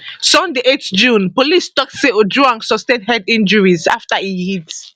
sunday 8 june policetok say ojwang sustain head injuries afta e hit